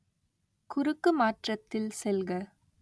குறுக்குமாற்றத்தில் செல்க